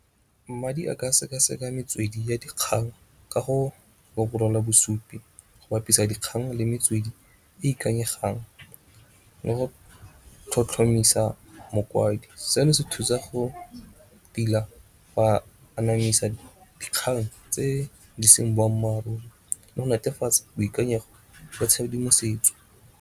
Mmadi a ka seka-seka metswedi ya dikgang ka go bosupi go bapisa dikgang le metswedi e ikanyegang le go tlhotlhomisa mokwadi. Seno se thusa go tila go a anamisa dikgang tse di seng boammaaruri le go netefatsa boikanyego ba tshedimosetso.